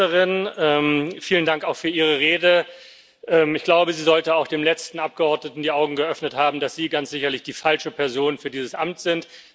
Frau Ministerin, vielen Dank auch für Ihre Rede. Ich glaube, sie sollte auch dem letzten Abgeordneten die Augen geöffnet haben, dass Sie ganz sicherlich die falsche Person für dieses Amt sind.